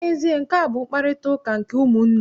N'ezie, nkea bụ mkparịtaụka nke ụmụnne.